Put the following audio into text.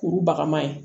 Kurubaga ma ye